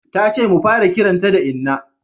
Ta ce mu fara kiranta da inna